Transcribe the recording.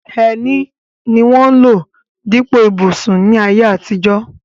Ẹní ni wọ́n ń lò dípò ìbùsùn ní ayé àtijọ́.